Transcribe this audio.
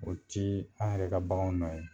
O ti an yɛrɛ ka bakanw nɔ ye.